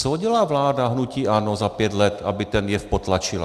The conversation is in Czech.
Co udělala vláda hnutí ANO za pět let, aby ten jev potlačila?